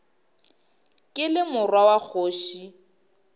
ke le morwa wa kgoši